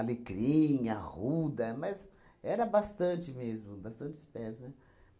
arruda, mas era bastante mesmo, bastante espécie, né?